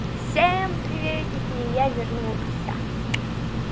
всем приветики я вернулся